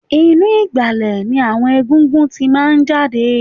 Inú ìgbàlẹ̀ ni àwọn egungun tí máa ń jáde